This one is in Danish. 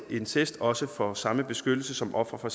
incest også får samme beskyttelse som et offer for